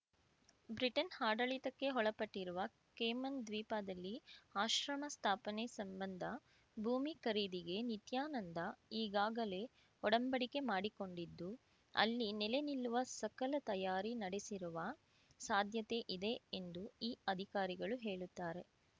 Britain ಆಡಳಿತಕ್ಕೆ ಒಳಪಟ್ಟಿರುವ Cayman ದ್ವೀಪದಲ್ಲಿ ಆಶ್ರಮ ಸ್ಥಾಪನೆ ಸಂಬಂಧ ಭೂಮಿ ಖರೀದಿಗೆ ನಿತ್ಯಾನಂದ ಈಗಾಗಲೇ ಒಡಂಬಡಿಕೆ ಮಾಡಿಕೊಂಡಿದ್ದು ಅಲ್ಲಿ ನೆಲೆ ನಿಲ್ಲುವ ಸಕಲ ತಯಾರಿ ನಡೆಸಿರುವ ಸಾಧ್ಯತೆಯಿದೆ ಎಂದು ಈ ಅಧಿಕಾರಿಗಳು ಹೇಳುತ್ತಾರೆ